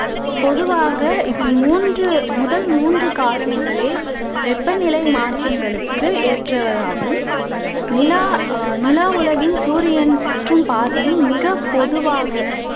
பொதுவாக இதில் மூன்று முதல் மூன்று காரணங்களே வெப்பநிலை மாற்றங்களுக்கு ஏற்றதாகும். நிலா நிலா உலகின் சூரியன் சுற்றும் பாதையின் மிக பொதுவாக